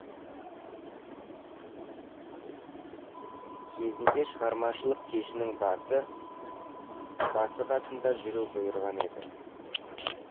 кезінде шығармашылық кешінің басы басы қасында жүру бұйырған еді